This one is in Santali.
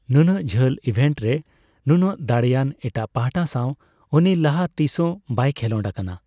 ᱱᱩᱱᱟᱹᱜ ᱡᱷᱟᱹᱞ ᱤᱵᱷᱮᱱᱰ ᱨᱮ ᱱᱩᱱᱟᱹᱜ ᱫᱟᱲᱮᱭᱟᱱ ᱮᱴᱟᱜᱯᱟᱦᱴᱟ ᱥᱟᱣ ᱩᱱᱤ ᱞᱟᱦᱟ ᱛᱤᱥᱦᱚᱸ ᱵᱟᱭᱠᱷᱮᱞᱚᱸᱰ ᱟᱠᱟᱱᱟ ᱾